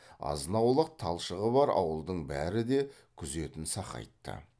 азынаулық талшығы бар ауылдың бәрі де күзетін сақайтты